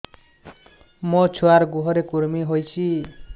ମୋ ଛୁଆର୍ ଗୁହରେ କୁର୍ମି ହଉଚି